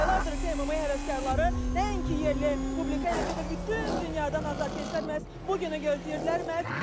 Aylardır ki, MMA həvəskarları nəinki yerli publika, eləcə də bütün dünyadan azarkeşlərimiz bu günü gözləyirdilər.